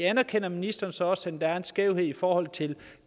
anerkender ministeren så også at der er en skævhed i forhold til